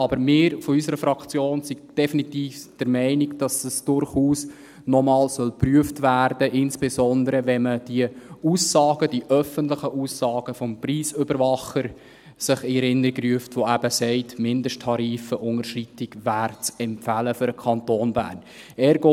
Aber unsere Fraktion ist definitiv der Meinung, dass es durchaus noch einmal geprüft werden soll, insbesondere, wenn man sich die Aussagen, die öffentlichen Aussagen des Preisüberwachers in Erinnerung ruft, der eben sagt, eine Mindesttarif-Unterschreitung wäre für den Kanton Bern zu empfehlen.